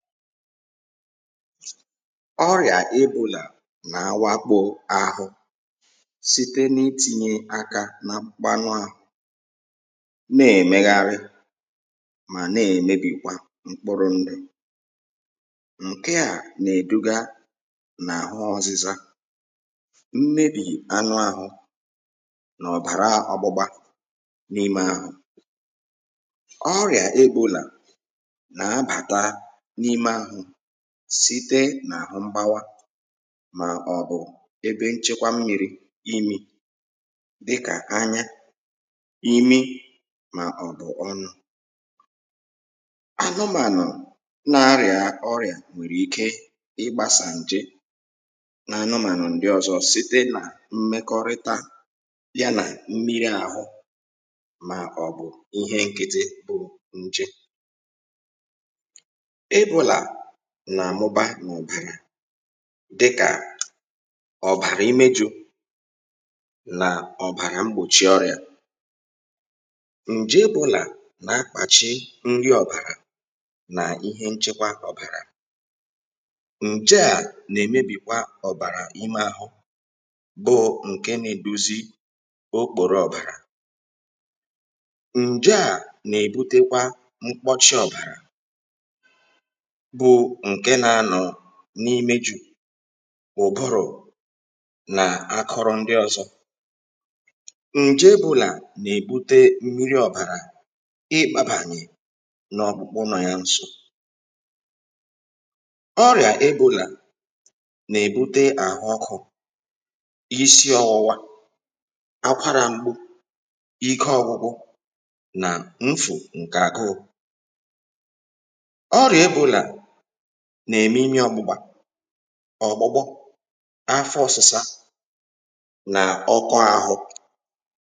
ọrịà ebōlà nà-àwakpò àhụ site n’itīnyē ākā na mkpanụ āhụ̄ na-èmegharị mà na-èmebìkwa mkpụrụ ndụ̀ ǹke à nà-èduga n’àhụ ọ̄zụ̄zā mmebì anụ āhụ̄ nà ọ̀bàra ọ̄gbụ̄gbā n’ime āhụ̄ ọrịà ebōlà nà-abàta n’ime àhụ̀ site n’àhụ mgbawa mà ọ̀ bụ̀ ebe nchekwa mmīrī imē dịkà anya, imi, màọ̀bụ̀ ọnụ̄ anụmànụ̀ na-arịà ọrịà nwèrè ike ịgbāsà ǹje na anụmànụ̀ ndị ọ̄zọ̄ site nà mmekọrịta ya nà mmiri àhụ màọ̀bụ̀ ihe n̄kị̄tị̄ bụ́ ńjé ebōlà nà-àmụba n’ọ̀bàrà dịkà ọ̀bàrà imejū nà ọ̀bàrà mgbòchi ọrịà ǹje ebōla nà-akpàchi nri ọ̀bàrà nà ihe nchekwa ọ̀bàrà ǹje à nà-èmebìkwa ọ̀bàrà ime āhụ̄ bụ ǹke nā-ēdōzī okpòro ọ̀bàrà ǹje à nà-èbutekwa mkpọchi ọ̀bàrà bụ ǹke nā-ānọ̀ n’imejụ̄, ụ̀bụrụ̀ nà akụrụ ndị ọ̄zọ̄ ǹje ebōlà nà-èbute mmiri ọ̀bàrà ịbāgbàyè n’ọkpụkpụ nọọ̄ yā n̄sō ọrịà ebōlà nà-èbute àhụ ọkụ̄, isi ọ̄wụ̄wā akwarā m̀gbù, ike ọ̄gụ̄gụ̄ nà mfụ̀ ǹkè àhụụ̄ ọrịà ebōlà nà-ème imi ọ̄gbụ̄gbā, ọ̀gbụ̀gbụ afọ ọ̄sụ̄sā nà ọkọ āhụ̄